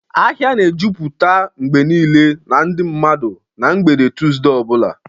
Ahịa na-ejupụta mgbe niile na ndị mmadụ na mgbede Tuzdee o bula.